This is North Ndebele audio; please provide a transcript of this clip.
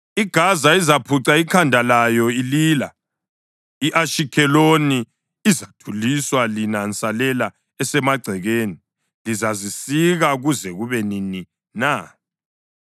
IGaza izaphuca ikhanda layo ilila; i-Ashikheloni izathuliswa. Lina nsalela esemagcekeni, lizazisika kuze kube nini na?